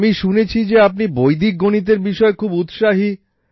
আমি শুনেছি যে আপনি বৈদিক গণিতের বিষয়ে খুব উৎসাহী